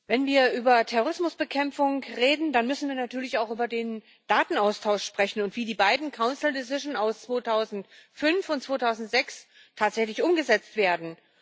Herr Präsident! Wenn wir über Terrorismusbekämpfung reden, dann müssen wir natürlich auch über den Datenaustausch sprechen und darüber, wie die beiden aus 2005 und 2006 tatsächlich umgesetzt werden.